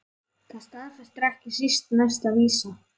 Það staðfestir ekki síst næsta vísa